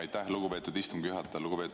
Aitäh, lugupeetud istungi juhataja!